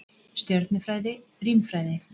Stjörnufræði, rímfræði.